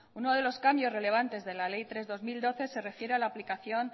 uno de los cambios relevantes de la ley tres barra dos mil doce se refiere a la aplicación